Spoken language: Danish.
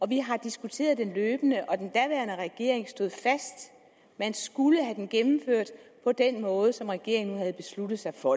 vi har diskuteret det løbende og den daværende regering stod fast man skulle have det gennemført på den måde som regeringen havde besluttet sig for